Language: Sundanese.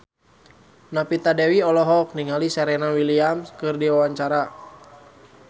Novita Dewi olohok ningali Serena Williams keur diwawancara